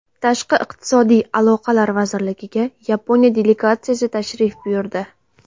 Tashqi iqtisodiy aloqalar vazirligiga Yaponiya delegatsiyasi tashrif buyurdi.